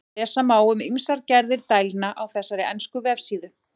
Lesa má um ýmsar gerðir dælna á þessari ensku vefsíðu.